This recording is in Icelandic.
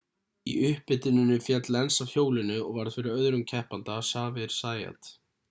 í upphituninni féll lenz af hjólinu og varð fyrir öðrum keppanda xavier zayat